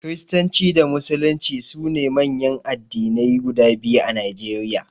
Kiristanci da Musulunci su ne manyan addinai guda biyu a Najeriya.